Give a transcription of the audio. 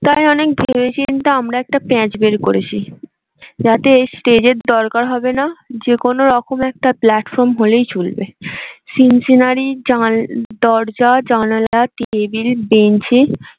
তাই অনেক ভেবে চিন্তে আমরা একটা প্যাচ বের করেছি। যাতে stage দরকার হবে না যে কোনো রকম একটা platform হলেই চলবে। সিন্ সিনারি দরজা জানালা টেবিল বেঞ্চ এ